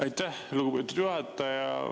Aitäh, lugupeetud juhataja!